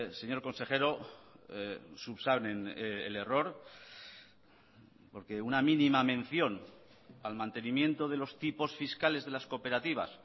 señor consejero subsanen el error porque una mínima mención al mantenimiento de los tipos fiscales de las cooperativas